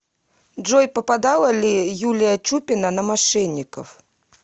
джой попадала ли юлия чупина на мошенников